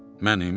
Mənim!